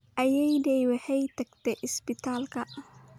Ayeeyday waxay tagtay isbitaalka